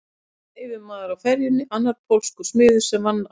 Einn var yfirmaður á ferjunni, annar pólskur smiður sem vann á